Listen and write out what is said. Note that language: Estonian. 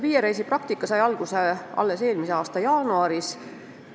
Viie reisi praktika sai alguse alles eelmise aasta jaanuaris.